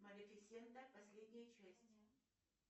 малефисента последняя часть